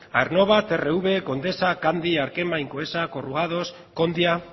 aernnova trv condesa candi arkema incoesa corrugados kondia